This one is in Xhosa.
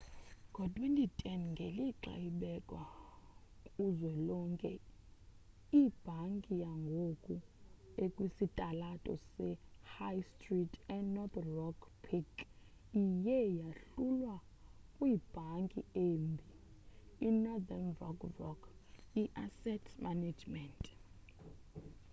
ngo-2010 ngelixa ibekwa kuzwelonke ibhanki yangoku ekwisitalato sehigh stree enorth rock plc iye yahlulwa 'kwibhanki embi' inorthern rock rock i-asset management.